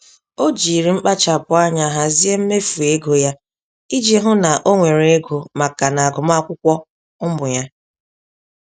O jírí mkpachapụ anya hazie mmefu ego ya iji hụ na onwere ego màkà n'agụmakwụkwọ ụmụ ya.